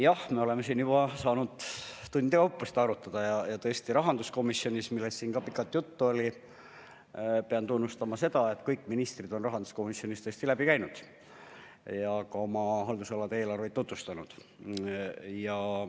Jah, me oleme siin juba saanud tundide kaupa seda arutada ja tõesti pean tunnustama seda, et rahanduskomisjonist, millest siin ka pikalt juttu oli, kõik ministrid on läbi käinud ja oma haldusala eelarvet tutvustanud.